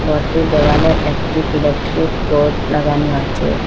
ঘরটির দেওয়ালে একটি ইলেকট্রিক বোর্ড লাগানো আছে।